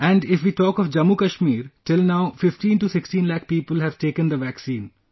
And if we talk of Jammu Kashmir, till now, 15 to 16 lakh people have taken the vaccine